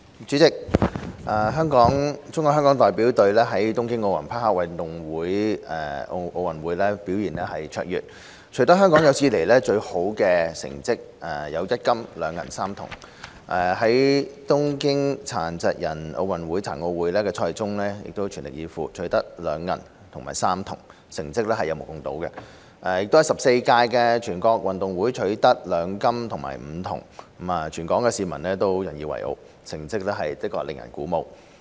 主席，中國香港代表隊在東京奧林匹克運動會表現卓越，取得香港有史以來最好的1金、2銀和3銅成績；在東京殘疾人奧運會的賽事中全力以赴，取得2銀和3銅，成績有目共睹；亦在第十四屆全國運動會取得2金和5銅，全港市民都引以為傲，成績令人鼓舞。